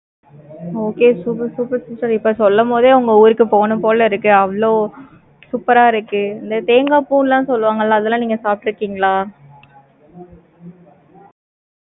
okay super super sister இப்ப சொல்லும் போதே, உங்க ஊருக்கு போகணும் போல இருக்கு. அவ்வளவு, super ஆ இருக்கு. இந்த தேங்காய் பூ எல்லாம் சொல்லுவாங்கல்ல? அதெல்லாம், நீங்க சாப்பிட்டு இருக்கீங்களா